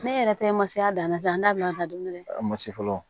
Ne yɛrɛ ta ye masaya danna an da bila a ka dumuni kɛ a ma se fɔlɔ